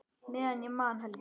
Meðan ég man, Helgi.